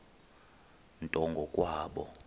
nto ngo kwabo